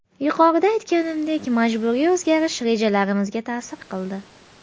Yuqorida aytganimdek majburiy o‘zgarish rejalarimizga ta’sir qildi.